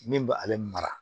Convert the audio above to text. Min bɛ ale mara